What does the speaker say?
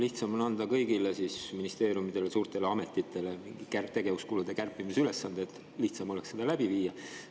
Lihtsam on anda kõigile ministeeriumidele ja suurtele ametitele mingid tegevuskulude kärpimise ülesanded, et lihtsam oleks seda läbi viia.